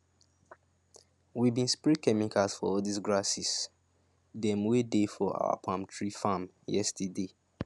we bin spray chemicals for all dis grasses dem wey dey for our palm tree farm yesterday